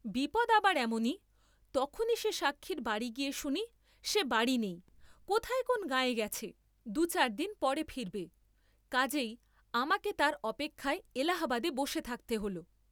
বিপদ আবার এমনি, তখনি সে সাক্ষীর বাড়ী গিয়ে শুনি সে বাড়ী নেই, কোথায় কোন্ গাঁয়ে গেছে, দুচার দিন পরে ফিরবে, কাজেই আমাকে তার অপেক্ষায় এলাহাবাদে বসে থাকতে হোল।